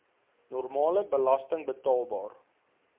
normale belasting betaalbaar